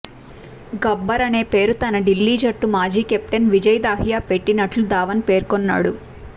గబ్బర్ అనే పేరు తన ఢిల్లీ జట్టు మాజీ కెప్టెన్ విజయ్ దాహియా పెట్టినట్లు ధావన్ పేర్కొన్నాడు